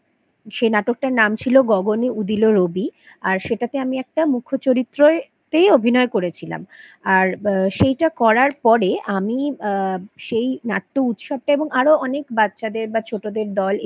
সে নাটকটার নাম ছিল গগনে উদিল রবি আর সেটাতে আমি একটা মুখ্য চরিত্রতেই অভিনয় করেছিলাম আর সেইটা করার পরে আমি আ সেই নাট্য উৎসবটায় এবং আরো বাচ্চাদের বা ছোটদের দল